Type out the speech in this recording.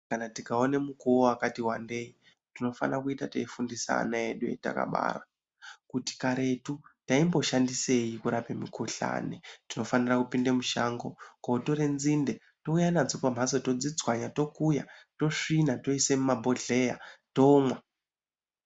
Kana tikaone mukuwo wakati wandei, tinofana kuita teifundisa ana edu etakabara, kuti karetu taimboshandisei kurape mukhuhlani. Tinofanira kupinde mushango, kotore nzinde ,touya nadzo pamhatso, todzitswanya, tokuya, tosvina, toisa mumabhodhleya, tomwa.